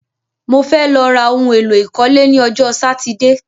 Mo fẹ́ lọ ra oun èlò ìkọ́lé ni ọjọ́ Sátidé